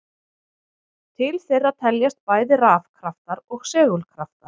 Til þeirra teljast bæði rafkraftar og segulkraftar.